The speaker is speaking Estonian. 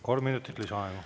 Kolm minutit lisaaega.